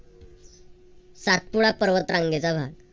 सातपुडा पर्वत रांगेचा भाग